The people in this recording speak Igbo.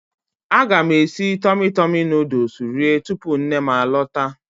Aga m esi Tọmi Tọmi nuduls rie tupu nnem a lọta.